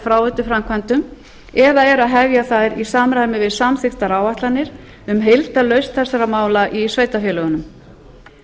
fráveituframkvæmdum eða eru að hefja þær í samræmi við samþykktar áætlanir um heildarlausn þessara mála í sveitarfélögunum